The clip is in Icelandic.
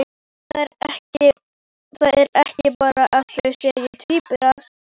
Það er ekki bara að þau séu tvíburar.